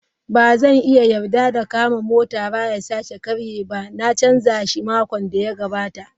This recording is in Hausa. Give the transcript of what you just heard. Ba zan iya yarda da kama motara ya sake karye ba, na canza shi makon da ya gabata.